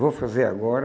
Vou fazer agora.